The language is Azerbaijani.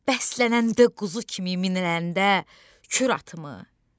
Bəslənəndə quzu kimi minəndə küratımı.